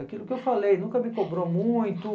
Aquilo que eu falei, nunca me cobrou muito.